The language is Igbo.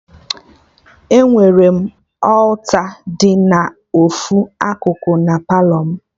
Enwere alta dị na ofu akụkụ na Palọ mụ